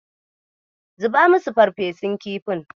Zuba musu farfesun kifin.